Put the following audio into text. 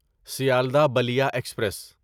Sealdah Ballia express